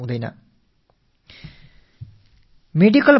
மிக வேகமாக ஒரு தாக்கத்தை ஏற்படுத்தி வருகின்றன